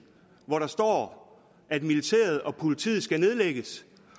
hvor der står at militæret og politiet skal nedlægges